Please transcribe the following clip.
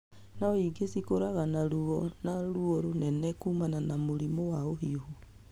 No ingĩ cĩkũraga na ruo na na rũo mũnene kumana na mũrimũ wa ũhiũhu.